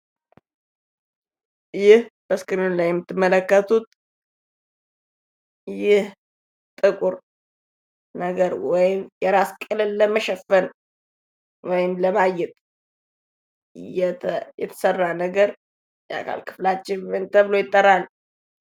ይህ በእስክሪኑ ላይ ላይ የምትመለከቱት ጥቁር ነገር ወይም የራስ ቅልን ለመሸፈን ወይም ለማጌጥ የተሰራ ነገር የአካል ክፍላችን ምን ተብሎ ይጠራል?